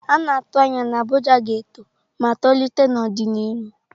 A na-atụ anya na Abuja ga-eto ma tolite n'ọdịnihu.